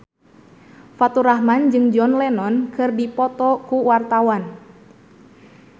Faturrahman jeung John Lennon keur dipoto ku wartawan